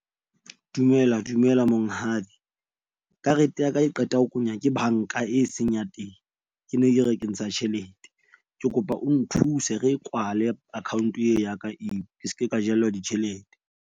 Dumela, dumela monghadi karete ya ka e qeta ho kwenywa ke bank-a e seng ya teng. Ke ne ke re ke ntsha tjhelete, ke kopa o nthuse re e kwale account e ya ka eo ke seke ka jellwa ditjhelete.